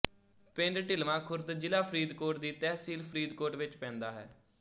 ਪਿੰਡ ਢਿਲਵਾਂ ਖੁਰਦ ਜ਼ਿਲਾ ਫਰੀਦਕੋਟ ਦੀ ਤਹਿਸੀਲ ਫਰੀਦਕੋਟ ਵਿੱਚ ਪੈਂਦਾ ਹੈ